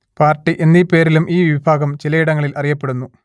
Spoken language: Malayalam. പാർട്ടി എന്നീ പേരിലും ഈ വിഭാഗം ചിലയിടങ്ങളിൽ അറിയപ്പെടുന്നു